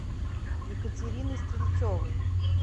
екатерины стрельцовой